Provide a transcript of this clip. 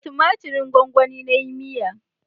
Da tumatirin gwanwani na yi miya